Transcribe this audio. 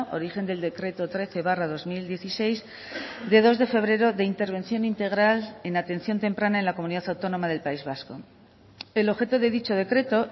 origen del decreto trece barra dos mil dieciséis de dos de febrero de intervención integral en atención temprana en la comunidad autónoma del país vasco el objeto de dicho decreto